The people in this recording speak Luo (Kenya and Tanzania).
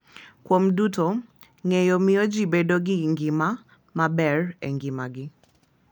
Kuom duto, ng’eyo miyo ji bedo gi ngima maber e ngimagi.